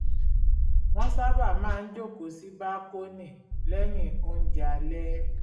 wọ́n sábà máa ń jókòó sí bákónì lẹ́yìn oúnjẹ alẹ́